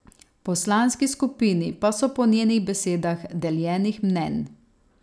V poslanski skupini pa so po njenih besedah deljenih mnenj.